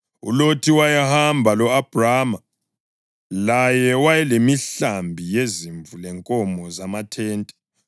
ULothi wayehamba lo-Abhrama, laye wayelemihlambi yezimvu lenkomo lamathente.